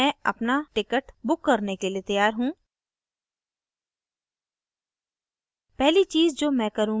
अब मैं अपना ticket book करने के लिए तैयार हूँ